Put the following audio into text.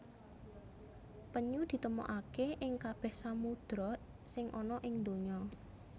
Penyu ditemokaké ing kabèh samudra sing ana ing donya